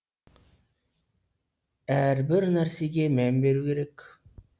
әрбір нәрсеге мән беру керек